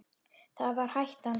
Það var hættan.